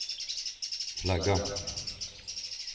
flagga